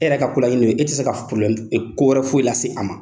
E yɛrɛ ka ko laɲini ye o ye , e tɛ se ka ko wɛrɛ foyi lase a ma!